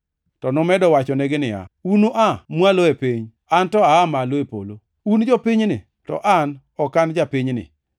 To nomedo wachonegi niya, “Unua mwalo e piny, an to aa malo e polo. Un jopinyni, to an ok an japinyni.